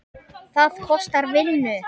Það kostar vinnu!